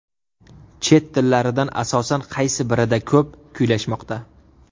Chet tillaridan asosan qaysi birida ko‘p kuylashmoqda?